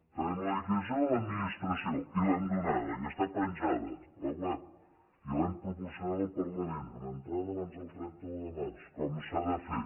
tenim la liquidació de l’administració i l’hem donada i està penjada a la web i l’hem proporcionada al parlament amb entrada abans del trenta un de març com s’ha de fer